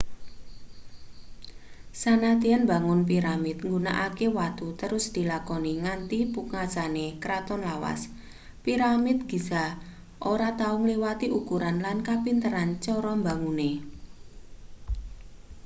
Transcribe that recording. sanadyan mbangun piramid nggunakake watu terus dilakoni nganti pungkasane kraton lawas piramid giza ora tau ngliwati ukuran lan kepinteran cara mbangune